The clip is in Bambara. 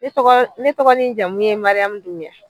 Ne tɔgɔ ne tɔgɔ ni n jamu ye Mariyamu Dumuya.